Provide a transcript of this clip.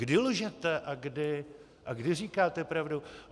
Kdy lžete a kdy říkáte pravdu?